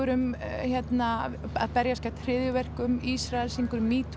um hérna að berjast gegn hryðjuverkum Ísrael syngur um